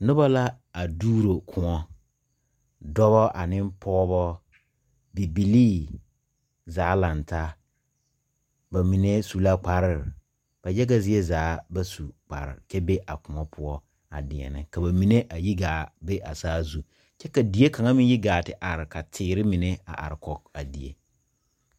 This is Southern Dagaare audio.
Nuba la a duuro koun, dɔba ane pɔgba bibilee zaa lang taa ba mene su la kpare ba yaga zee zaa ba su kpare kye be a kuon puo a deɛne ka ba mene a yi gaa be a saa zung kye ka deɛ kanga meng yi gaa ti arẽ ka teere mene arẽ koo a deɛ.